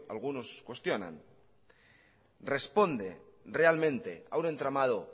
algunos cuestionan responde realmente a un entramado